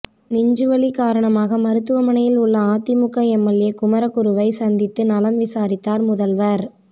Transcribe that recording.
நெஞ்சுவலி காரணமாக மருத்துவமனையில் உள்ள அதிமுக எம்எல்ஏ குமரகுருவை சந்தித்து நலம் விசாரித்தார் முதல்வர்